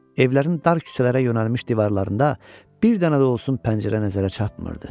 Evlərin dar küçələrə yönəlmiş divarlarında bir dənə də olsun pəncərə nəzərə çatmırdı.